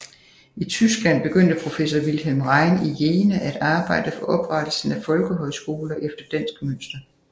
I Tyskland begyndte professor Wilhelm Rein i Jena at arbejde for oprettelse af folkehøjskoler efter dansk mønster